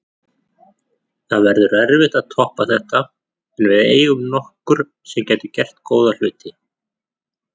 Það verður erfitt að toppa þetta en við eigum nokkur sem gætu gert góða hluti.